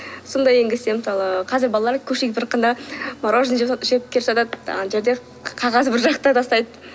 сондай енгізсе мысалы қазір балалар мороженое жеп келе жатады ана жерде қағазды бір жаққа тастайды